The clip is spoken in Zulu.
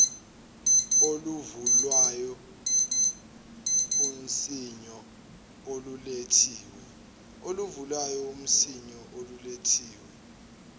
oluvulwayo unswinyo olulethiwe